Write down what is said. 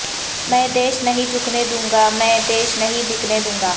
میں دیش نہیں جھکنے دوں گا میں دیش نہیں بکنے دوں گا